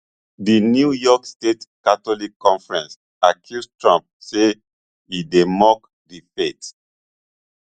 di new york state catholic conference accuse trump say e dey mock di faith